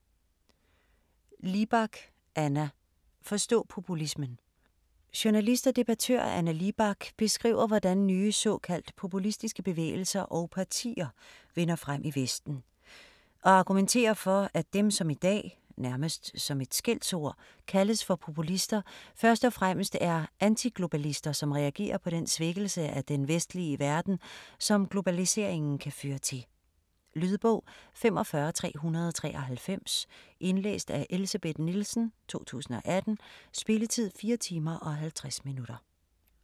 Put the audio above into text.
Libak, Anna: Forstå populismen! Journalist og debattør Anna Libak beskriver hvordan nye såkaldt populistiske bevægelser og partier vinder frem i Vesten og argumenterer for at dem som i dag - nærmest som et skældsord - kaldes for populister, først og fremmest er antiglobalister som reagerer på den svækkelse af den vestlige verden, som globaliseringen kan føre til. Lydbog 45393 Indlæst af Elsebeth Nielsen, 2018. Spilletid: 4 timer, 50 minutter.